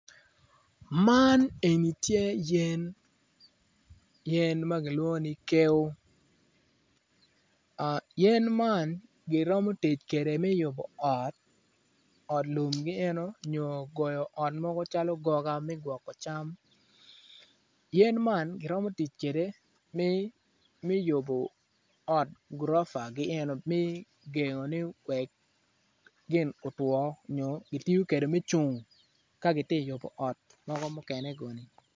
Man eni tye yen yen ma kilwongo ni keo yen man giromo tic kwede me yubo ot ot lumgi eno nyo goyo ot mogo calo goga me gwoko cam yen man giromo tic kwede me yubo ot gurofagi eno me gengo ni wek gin otwo nyo kitiyo kwede me cung ka giti yubo ot mogo mukene guni.